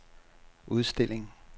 udstilling